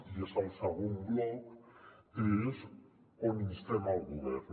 i és al segon bloc és on instem el govern